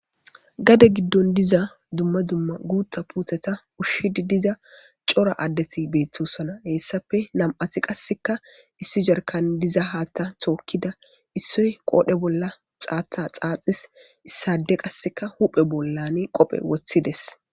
gade giddon diza dumma dumma guutta puutheta ushshidi diza cora Addeti beettosona heessappe nam'ati qasseka issi sarkan diza haatta tookkida issoy qoodhe bolla xaatha xaaxis issade qasseka huphe bollane qophe wothides.